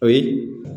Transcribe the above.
O ye